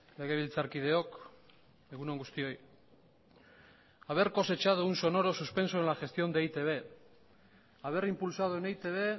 legebiltzarkideok egun on guztioi haber cosechado un sonoro suspenso en la gestión de e i te be haber impulsado en e i te be